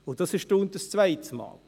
Dies erstaunt zum zweites Mal.